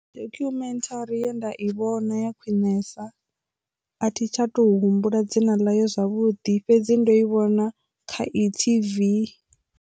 Documentary ye nda i vhona ya khwinesa a thi tsha to humbula dzina ḽa ye zwavhuḓi fhedzi ndo i vhona kha e-TV.